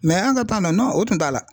an ka na o tun t'a la